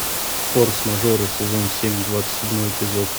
форс мажоры сезон семь двадцать седьмой эпизод